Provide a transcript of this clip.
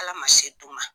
Ala ma se d'u ma